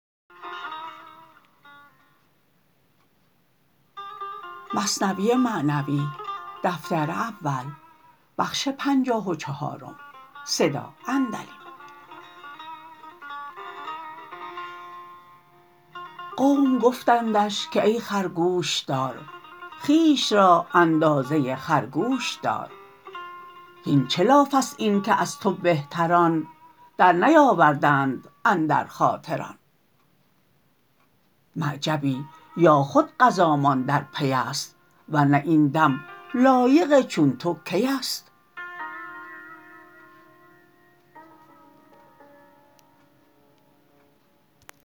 قوم گفتندش که ای خر گوش دار خویش را اندازه خرگوش دار هین چه لافست این که از تو بهتران در نیاوردند اندر خاطر آن معجبی یا خود قضامان در پیست ور نه این دم لایق چون تو کیست